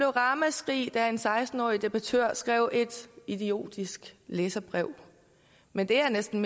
ramaskrig da en seksten årig debattør skrev et idiotisk læserbrev men det jeg næsten